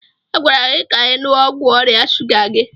A gwara gị ka ị ṅụọ ọgwụ ọrịa shuga gị.